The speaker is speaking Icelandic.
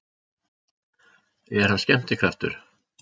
Er hann skemmtikraftur?